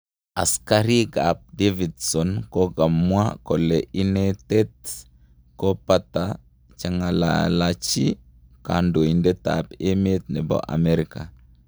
Askarit ap Davidson kokamwa kole inetet ko pata chengalachi Kandoitet ap emet nepo amerika